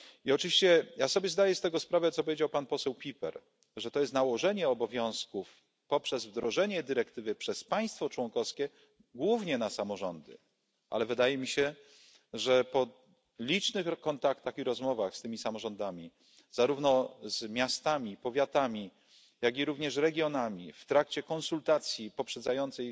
Oczywiście ja sobie zdaję z tego sprawę, co powiedział pan poseł Pieper, że to jest nałożenie obowiązków poprzez wdrożenie dyrektywy przez państwo członkowskie głównie na samorządy, ale wydaje mi się, że po licznych kontaktach i rozmowach z tymi samorządami, zarówno z miastami, powiatami, jak i również regionami, w trakcie konsultacji poprzedzającej